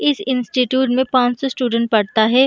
इस इंस्टिट्यूट में पांच सौ स्टूडेंट पढता है।